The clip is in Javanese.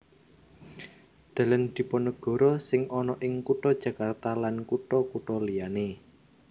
Dalan Dipanegara sing ana ing kutha Jakarta lan kutha kutha liyané